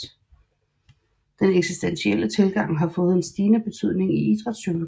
Den eksistentielle tilgang har også fået en stigende betydning i idrætspsykologien